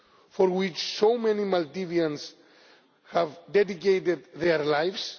for which so many Maldivians have dedicated their lives.